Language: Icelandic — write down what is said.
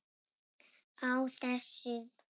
Á þessum